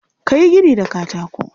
Ka yi gini da katako.